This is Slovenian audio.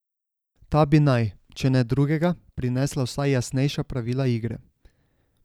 Ta bi naj, če ne drugega, prinesla vsaj jasnejša pravila igre.